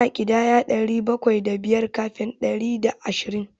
Ana ƙidaya ɗari bakwai da biyar kafin ɗari bakwai da ashirin.